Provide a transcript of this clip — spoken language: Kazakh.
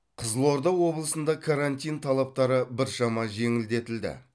қызылорда облысында карантин талаптары біршама жеңілдетілді